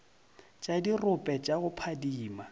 tša dirope tša go phadima